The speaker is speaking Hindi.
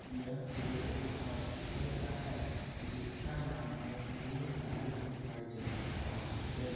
यह चित्र एक हॉस्पिटल का है। जिसका नाम है न्यू लाइफ इमर्जन्सी हॉस्पिटल ।